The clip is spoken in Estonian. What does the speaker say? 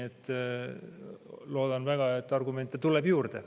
Loodan väga, et argumente tuleb juurde.